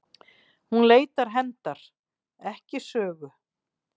Hún leitar hefndar, ekki sögu.